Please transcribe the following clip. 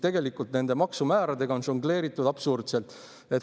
Tegelikult nende maksumääradega on žongleeritud absurdselt.